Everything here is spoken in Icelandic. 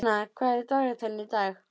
Sjana, hvað er á dagatalinu í dag?